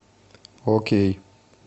окей